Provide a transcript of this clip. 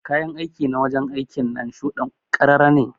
Kayan aiki na wajen aiki ɗinnan shude'n karara ne.